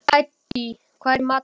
Hædý, hvað er í matinn?